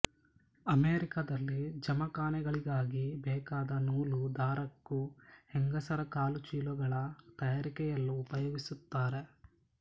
ಅಮೆರಿಕದಲ್ಲಿ ಜಮಖಾನೆಗಳಿಗಾಗಿ ಬೇಕಾದ ನೂಲು ದಾರಕ್ಕೂ ಹೆಂಗಸರ ಕಾಲುಚೀಲಗಳ ತಯಾರಿಕೆಯಲ್ಲೂ ಉಪಯೋಗಿಸುತ್ತಾರೆ